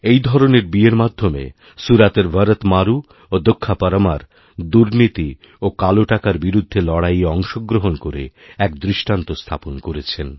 এই ধরনের বিয়েরমাধ্যমে সুরাতের ভরত মারু ও দক্ষা পরমার দুর্নীতি ও কালো টাকার বিরুদ্ধে লড়াইয়েঅংশগ্রহণ করে এক দৃষ্টান্ত স্থাপন করেছেন